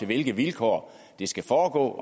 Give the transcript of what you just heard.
hvilke vilkår det skal foregå